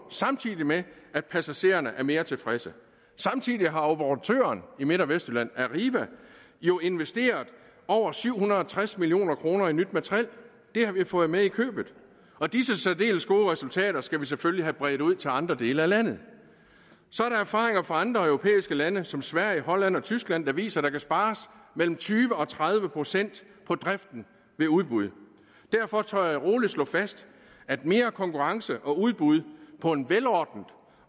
samtidig med at passagererne er mere tilfredse samtidig har operatøren i midt og vestjylland arriva jo investeret over syv hundrede og tres million kroner i nyt materiel det har vi fået med i købet og disse særdeles gode resultater skal vi selvfølgelig have bredt ud til andre dele af landet så er der erfaringer fra andre europæiske lande som sverige holland og tyskland der viser at der kan spares mellem tyve og tredive procent på driften ved udbud derfor tør jeg rolig slå fast at mere konkurrence og udbud på en velordnet